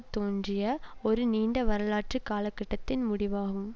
தோன்றிய ஒரு நீண்ட வரலாற்று காலகட்டத்தின் முடிவாகும்